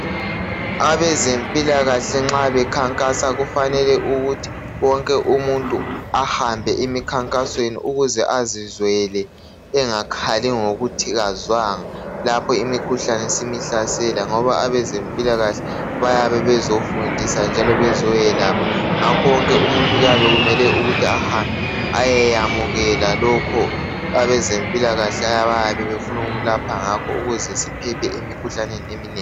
Abezempilakahle nxa bekhankasa kufanele ukuthi wonke umuntu ahambe emikhankasweni ukuze azizwele engakhali ngokuthi kazwanga lapho imikhuhlane isimuhlasela ngoba abezempilakahle bayabe bezofundisa njalo bezoyelapha. Ngakho wonke umuntu kufuze ahambe ayekwamukela abezempilakahle abayabe befuna ukumelapha ngakho ukuze siphephe emikhuhlaneni eminengi.